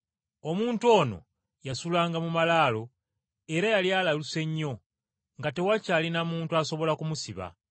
Omuntu ono yasulanga mu malaalo era yali alaluse nnyo nga tewakyali na muntu asobola kumusiba.